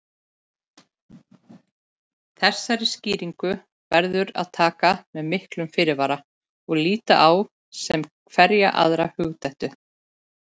Þessari skýringu verður að taka með miklum fyrirvara og líta á sem hverja aðra hugdettu.